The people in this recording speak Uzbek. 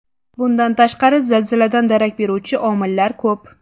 Bundan tashqari zilziladan darak beruvchi omillar ko‘p.